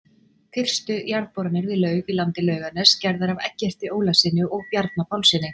Fyrstu jarðboranir við laug í landi Laugarness, gerðar af Eggerti Ólafssyni og Bjarna Pálssyni.